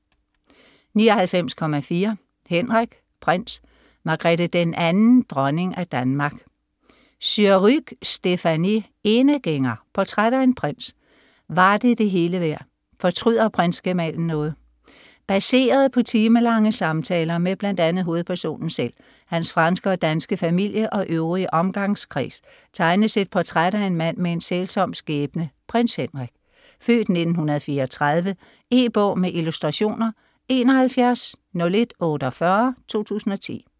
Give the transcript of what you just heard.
99.4 Henrik: prins, Margrethe II, dronning af Danmark Surrugue, Stéphanie: Enegænger: portræt af en prins Var det det hele værd? Fortryder prinsgemalen noget? Baseret på timelange samtaler med bl.a. hovedpersonen selv, hans franske og danske familie og øvrige omgangskreds, tegnes et portræt af en mand med en sælsom skæbne, Prins Henrik (f. 1934). E-bog med illustrationer 710148 2010.